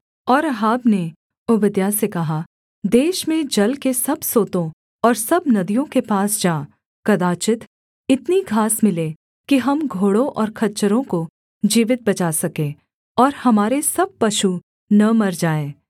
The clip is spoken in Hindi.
और अहाब ने ओबद्याह से कहा देश में जल के सब सोतों और सब नदियों के पास जा कदाचित् इतनी घास मिले कि हम घोड़ों और खच्चरों को जीवित बचा सके और हमारे सब पशु न मर जाएँ